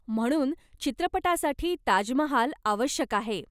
म्हणून, चित्रपटासाठी ताजमहाल आवश्यक आहे.